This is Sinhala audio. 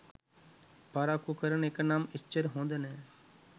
පරක්කු කරන එක නම් එච්චර හොඳ නෑ.